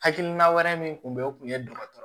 Hakilina wɛrɛ min tun bɛ o kun ye dɔgɔtɔrɔ